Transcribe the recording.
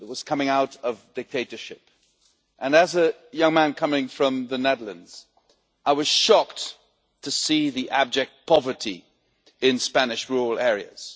It was coming out of dictatorship, and as a young man coming from the Netherlands I was shocked to see the abject poverty in Spanish rural areas.